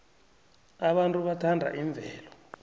abantu bathanda imvelo